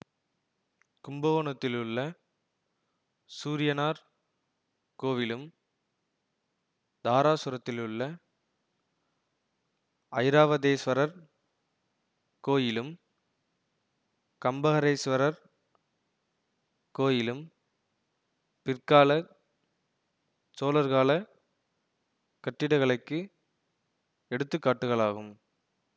கும்பகோணத்திலுள்ள சூரியனார் கோயிலும் தாராசுரத்திலுள்ள ஐராவதேஸ்வரர் கோயிலும் கம்பகரேஸ்வரர் கோயிலும் பிற்காலச் சோழர்காலக் கட்டிடக்கலைக்கு எடுத்து காட்டுகளாகும்